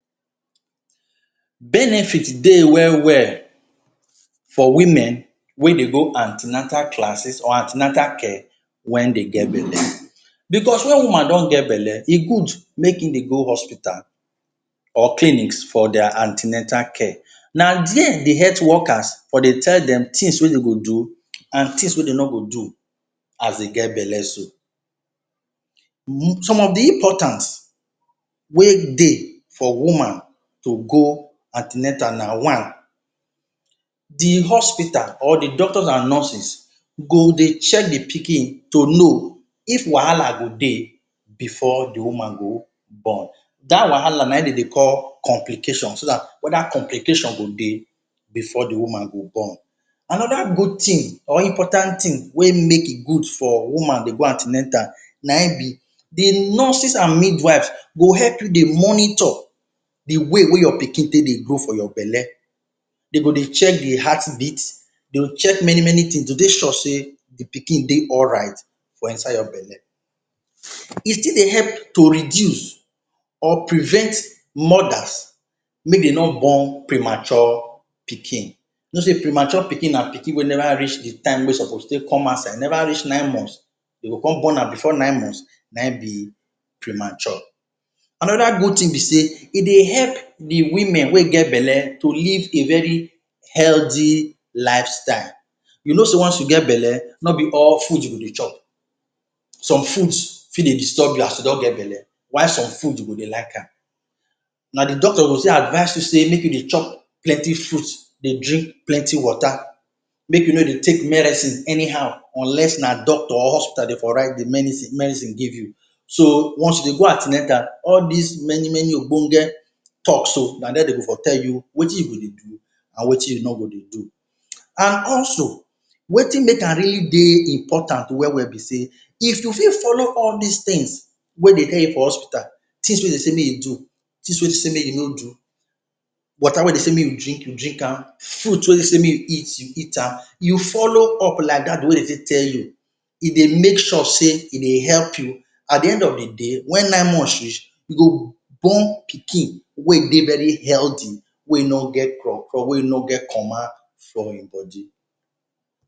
Benefit dey well well for women wey dey go an ten atal classes or an ten atal care wen dey get belle. because wen woman don get belle, e good make im dey go hospital or clinics for their an ten atal care. Na there de health workers for dey tell dem things wey dem go do and things wey dey no go do as dey get belle so.? Some of de importance wey dey for woman to go an ten atal na one, de hospital or the doctors and nurses go dey check the pikin to know if wahala go dey before de woman go born. Dat wahala na im dem dey call complication, so dat whether complication go dey before the woman go born. Another good thing or important thing wey make e good for woman dey go an ten atal na e be the nurses and midwives go help you dey monitor the way wey your pikin take dey grow for your belle. Dey go dey check the heartbeat, dey will check many many things to make sure say the pikin dey alright for inside your belle. E fit dey help to reduce or prevent mothers make dey no born premature pikin. You know say premature pikin na pikin wey never reach the time wey e suppose take come outside. E never reach nine months, dem go come born am before nine months na e be premature. Another good thing be say e dey help the women wey get belle to live a very healthy lifestyle. You know say once you get belle, no be all food you go dey chop. Some foods fit dey disturb you as you don get belle while some food you go dey like am. Na the doctor go still advice you say make you dey chop plenty fruits, dey drink plenty water, make you no dey take medicine anyhow unless na doctor or hospital dey for write the? medicine give you. So once you dey go an ten atal, all dis many many ogbonge talk so, na there dey will for tell you wetin you go dey do and wetin you no go dey do. And also wetin make am really dey important well well be say if you fit follow all dis things wey dey tell you for hospital, things wey dey say make you do, things wey dey say make you no do; water wey dey say make you drink, you drink am; fruit wey dey say make you eat, you eat am, you follow up like dat wey dey take tell you, e dey make sure say e dey help you. At the end of the day, wen nine months reach you go born pikin wey e dey very healthy, way e no get craw craw, wey e no get comma for im body.